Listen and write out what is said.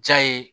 Ja ye